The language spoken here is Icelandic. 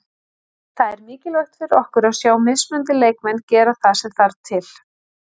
Það er mikilvægt fyrir okkur að sjá mismunandi leikmenn gera það sem þarft til.